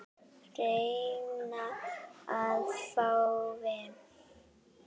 Reyna að fá vinnu?